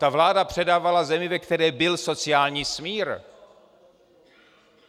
Ta vláda předávala zemi, ve které byl sociální smír.